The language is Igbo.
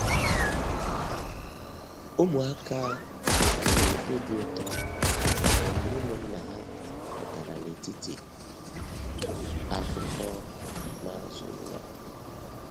Ụmụaka were obi ụtọ mgbe ụmụnna ha pụtara n’etiti akụkọ n’azụ ụlọ.